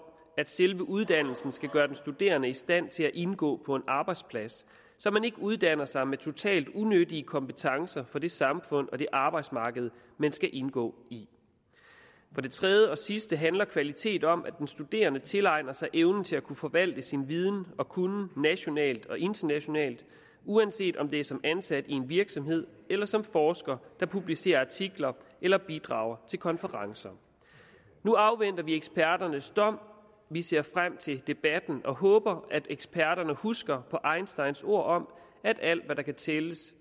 at selve uddannelsen skal gøre den studerende i stand til at indgå på en arbejdsplads så man ikke uddanner sig med totalt unyttige kompetencer for det samfund og det arbejdsmarked man skal indgå i for det tredje og sidste handler kvalitet om at den studerende tilegner sig evnen til at kunne forvalte sin viden og kunnen nationalt og internationalt uanset om det er som ansat i en virksomhed eller som forsker der publicerer artikler eller bidrager til konferencer nu afventer vi eksperternes dom vi ser frem til debatten og håber at eksperterne husker på einsteins ord om at alt hvad der kan tælles